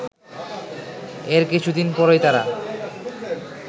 এর কিছুদিন পরই তারা